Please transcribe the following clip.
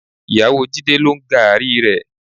Ìyàwó Jídé ló ń gààrí rẹ.